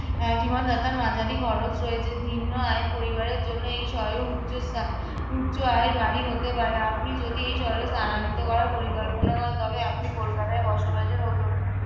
আহ জীবনযাত্রার মাঝারি খরচ রয়েছে। নিম্ন আয়ের পরিবারের জন্য এই শহরে উচ~ আহ উচ্চ আয়ের বাড়ি হতে পারে। আপনি যদি এই শহরে স্থান্তরিত করার পরিকল্পনা করেন তবে আপনি কলকাতায় বসবাসের ও জন্য